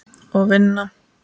Og vinna.